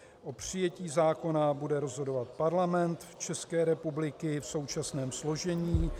O přijetí zákona bude rozhodovat Parlament České republiky v současném složení.